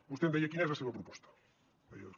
vostè em deia quina és la seva proposta deia